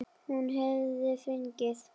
Hún verður fegin.